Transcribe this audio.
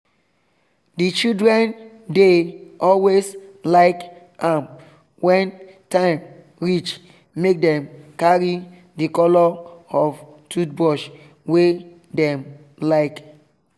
the children dey always like am when time reach make them carry the color of toothbrush wey dem like.